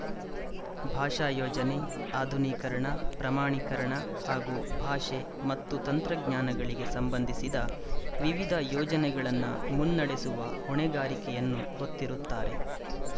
ಭಾಷಾ ಯೋಜನೆ ಆಧುನೀಕರಣ ಪ್ರಮಾಣೀಕರಣ ಹಾಗೂ ಭಾಷೆ ಮತ್ತು ತಂತ್ರಜ್ಞಾನಗಳಿಗೆ ಸಂಬಂಧಿಸಿದ ವಿವಿಧ ಯೋಜನೆಗಳನ್ನು ಮುನ್ನಡೆಸುವ ಹೊಣೆಗಾರಿಕೆಯನ್ನು ಹೊತ್ತಿರುತ್ತಾರೆ